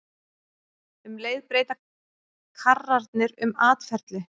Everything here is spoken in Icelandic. Um leið breyta karrarnir um atferli.